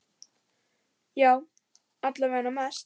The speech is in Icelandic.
Já, alla vega mest.